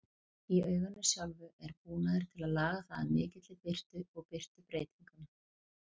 Í auganu sjálfu er búnaður til að laga það að mikilli birtu og birtubreytingum.